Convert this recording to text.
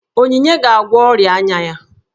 Onyinye ga-agwọ ọrịa anya ya